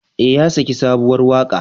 Ee, ya saki sabuwar waƙa.